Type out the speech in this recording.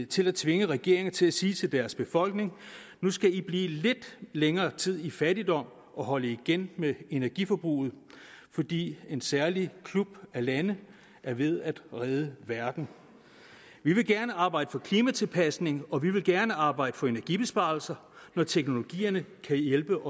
til at tvinge regeringer til at sige til deres befolkninger at nu skal i blive lidt længere tid i fattigdom og holde igen med energiforbruget fordi en særlig klub af lande er ved at redde verden vi vil gerne arbejde for klimatilpasning og vi vil gerne arbejde for energibesparelser når teknologierne kan hjælpe